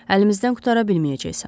Əlimizdən qurtara bilməyəcəksən.